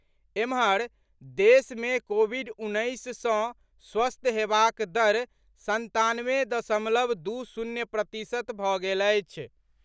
एम्हर, देश मे कोविड उन्नैस सँ स्वस्थ हेबाक दर संतानवे दशमलव दू शून्य प्रतिशत भऽ गेल अछि।